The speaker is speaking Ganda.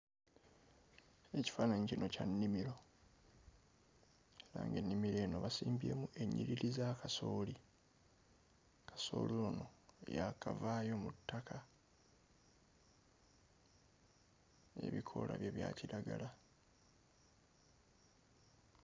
Ekifaananyi kino kya nnimiro era ng'ennimiro eno basimbyemu ennyiriri za kasooli kasooli ono yaakavaayo mu ttaka n'ebikoola bye bya kiragala.